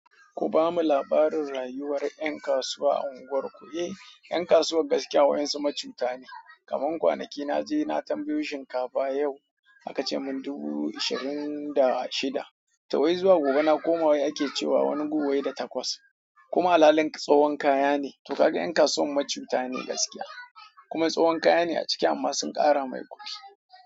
Ku bamu labarin rayuwar yan kasuwa a unguwar ku, eh yan kasuwar gaskiya wasu macuta ne. Kaman kwanaki na je na tambayo shinkafa yau, aka ce mun dubu ashirin da shida. Tawai zuwa gobe na koma ake cewa wani guwai da takwas. Kuma alhalin tsahon kaya ne. To kaga 'yan kasuwan macuta ne gaskiya kuma tsahon kaya ne a ciki amma sun ƙara mai kuɗi.